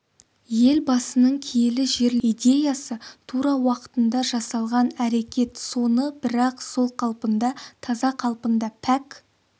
елбасының киелі жерлерімізді көтеру идеясы тура уақытында жасалған әрекет соны бірақ сол қалпында таза қалпында пәк